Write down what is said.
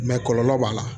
kɔlɔlɔ b'a la